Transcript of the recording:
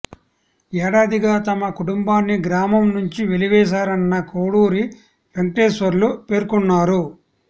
ఏడాదిగా తమ కుటుంబాన్ని గ్రామం నుంచి వెలివేశారన్న కోడూరి వెంకటేశ్వర్లు పేర్కొన్నారు